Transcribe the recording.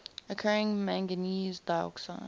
occurring manganese dioxide